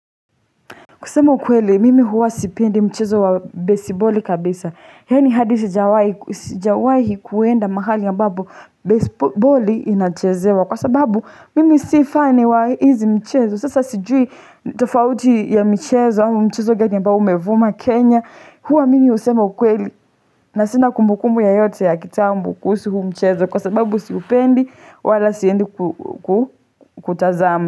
Kusema ukwele, mimi huwa sipendi mchezo wa besiboli kabisa. Yaani hadi sijawahi kuenda mahali ambapo besiboli inachezewa. Kwa sababu, mimi si fani wa hizi mchezo. Sasa sijui tofauti ya mchezo wa mchezo gani umevuma umevuma Kenya. Huwa mimi husema ukwele na sina kumbukumbu yeyote ya kitambo kuhusu huu mchezo. Kwa sababu siupendi, wala siendi kutazama.